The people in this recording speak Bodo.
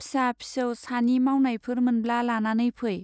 फिसा-फिसौ सानि मावनायफोर मोनब्ला लानानै फै ।